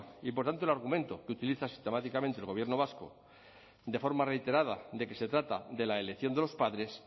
y por tanto el argumento que utiliza sistemáticamente el gobierno vasco de forma reiterada de que se trata de la elección de los padres